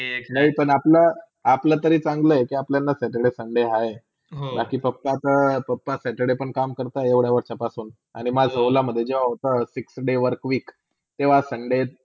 ले पण आपला, अपला तरीन चांगला के अपल्याला saturday, sunday बकी papa तर papa, saturday पण काम करतात एवडा वर्षा पासून आणि माझा ओला मधे job होता fixed day one week किवा sunday